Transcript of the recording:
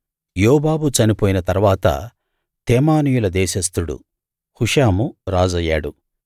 యోబాబు చనిపోయిన తరువాత తేమానీయుల దేశస్థుడు హుషాము రాజయ్యాడు